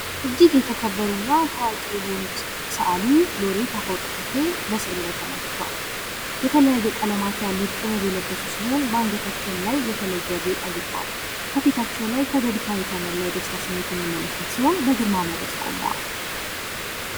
እጂግ ታዋዊ የሆኑት እና የተከበሩት ሰአሊ ሎሬት አፈ-ወርቅ ተክሌ ምስሉ ላይ ተመልክተዋል። የተለያየ ቀለማት ያሉት ጥበብ የለበሱ ሲሆን አንገታቸዉም ላይ የተለየ ጌጣጌጥ አድርገዋል። ከፊታቸው ላይ ፈገግታ የተሞላ የደስታ ስሜት የምንመለከት ሲሆን ግርማ ሞገስ ቁመዋል።